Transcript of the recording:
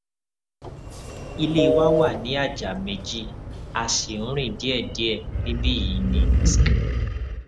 ilé wa wà ní àjà méjì a sì ń rìn díẹdíẹ níbí yìí ní sc